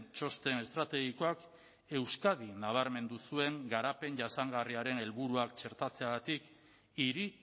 txosten estrategikoak euskadi nabarmendu zuen garapen jasangarriaren helburuak txertatzeagatik hiri